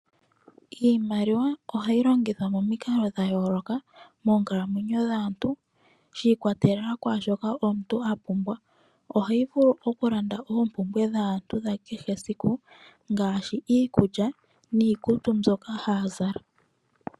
Iimaliwa ohayi longithwa momikalo dha yoloka monkalamwenyo dhaantu shi ikwatelela kwashoka omuntu apumbwa, ohayi vulu oku landa oompumbwe dhaantu dha kehe esiku ngashi iikulya niikutu mbyoka aantu haya zala.